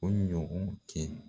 O ɲɔgɔn kɛ